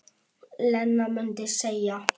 Lena mundi segja.